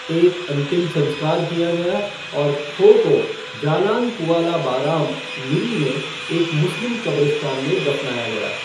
एक अंतिम संस्कार किया गया, और खो को जालान कुआला बाराम, मिरी में एक मुस्लिम कब्रिस्तान में दफनाया गया।